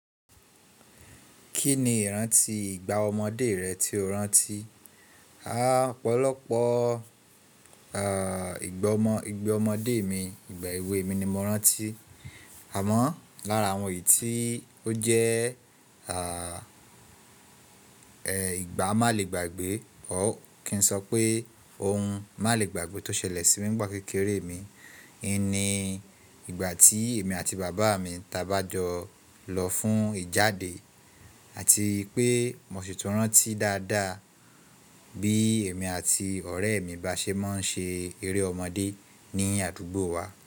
Kí ni iranti ìgbà ọmọdé rẹ tí o rántí? A, ọ̀pọ̀lọpọ̀, à, ìgbọmọ, ìgbẹ́ ọmọdé mi, ìgbà èwe mi ni mo rántí. Àmọ́ lára àwọn yìí tí ó jẹ́, à, ẹ, ìgbà má lè gbàgbé or kí n sọ pé ohun má lè gbàgbé tó ṣẹlẹ̀ sí mi nígbà kékeré mi, ni ìgbà tí èmi àti bàbá mi ta bá jọ lọ fún ìjáde àti pé mo sì tún rántí dáadáa bí èmi àti ọ̀rẹ́ mi bá ṣe máa ń ṣe eré ọmọdé ní àdúgbò wa.